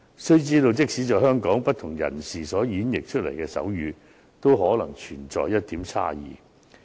須知道，即使在香港，不同人士演繹出來的手語都可能存在差異。